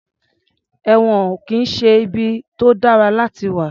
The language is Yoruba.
Ẹ̀wọ̀n ò kì í ṣe ibi tó dára láti wà.